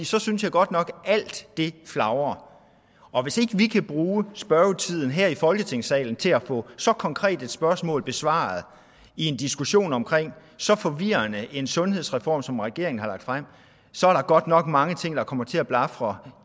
så synes jeg godt nok at alt flagrer og hvis ikke vi kan bruge spørgetiden her i folketingssalen til at få så konkret et spørgsmål besvaret i en diskussion om så forvirrende en sundhedsreform som den regeringen har lagt frem så der godt nok mange ting der kommer til at blafre